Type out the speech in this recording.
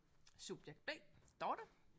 Subjekt B Dorthe